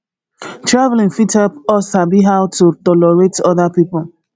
traveling fit help us sabi how to tolerate oda pipo